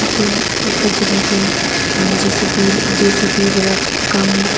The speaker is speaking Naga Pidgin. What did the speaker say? ete etu jagah te a jcp jcp para kam.--